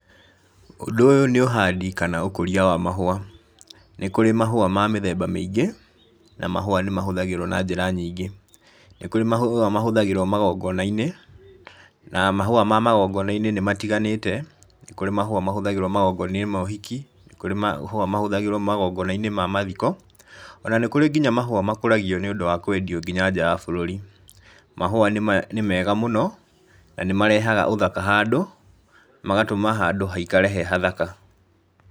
Ũndũ ũyũ nĩ ũhandi kana ũkũria wa mahũa, nĩ kũrĩ mahũa ma mĩthemba mĩingĩ, na mahúũ nĩ mahũthagĩrwo na njĩra nyingĩ, nĩ kũrĩ mahũa mahũthagĩrwo magongonainĩ, na mahũa ma magongona-inĩ nĩ matiganĩte, nĩ kũrĩ mahũa mahũthagĩrwo magongonainĩ ma ũhiki, nĩ kũrĩ mahũa mahũthagĩrwo magongona-inĩ ma mathiko, ona nĩ kũrĩ nginya mahũa makũragio nĩũndũ wa kwendio nginya nja ya bũrũrĩ, mahũa nĩ mega mũno na nĩ marehaga ũthaka handũ, magatũma handũ haikare he hathaka.